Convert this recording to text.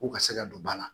K'u ka se ka don ba la